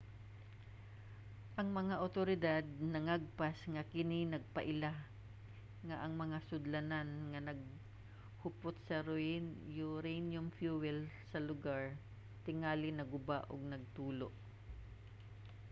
ang mga awtoridad nangagpas nga kini nagpaila nga ang mga sudlanan nga naghupot sa uranium fuel sa lugar tingali naguba ug nagtulo